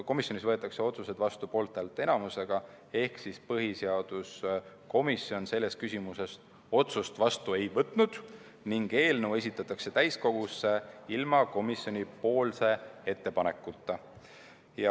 Komisjonis võetakse otsused vastu poolthäälte enamusega ehk põhiseaduskomisjon selles küsimuses otsust vastu ei võtnud ning eelnõu esitatakse täiskogusse ilma komisjoni ettepanekuta.